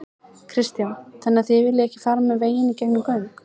Kristján: Þannig þið viljið ekki fara með veginn í gegnum göng?